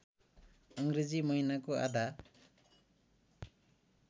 अङ्ग्रेजी महिनाको आधा